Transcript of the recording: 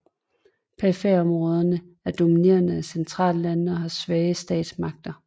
Periferiområderne er dominerede af centerlandene og har svage statsmagter